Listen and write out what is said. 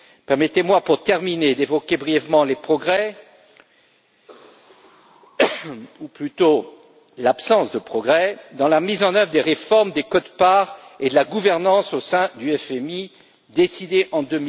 Permettez moi, pour terminer, d'évoquer brièvement les progrès ou plutôt l'absence de progrès dans la mise en œuvre des réformes des quotes parts et de la gouvernance au sein du FMI, décidées en